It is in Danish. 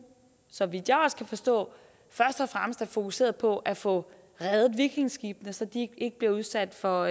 så vidt jeg kan forstå først og fremmest er fokuseret på at få reddet vikingeskibene så de ikke bliver udsat for